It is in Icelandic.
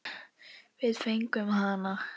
Við fengum hana!